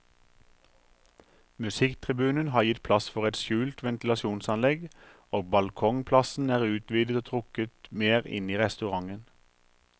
Musikktribunen har gitt plass for et skjult ventilasjonsanlegg, og balkongplassen er utvidet og trukket mer inn i restauranten.